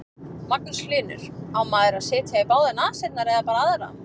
Magnús Hlynur: Á maður að setja í báðar nasirnar eða bara aðra?